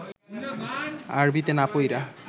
আরবিতে না পইড়া